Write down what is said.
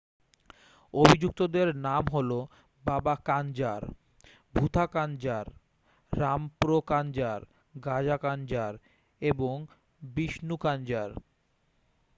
অভিযুক্তদের নাম হল বাবা কাঞ্জার ভুথা কাঞ্জার রামপ্রো কাঞ্জার গাজা কাঞ্জার এবং বিষ্ণু কাঞ্জার